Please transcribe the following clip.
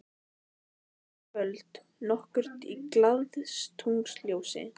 Svo var það kvöld nokkurt í glaðatunglsljósi.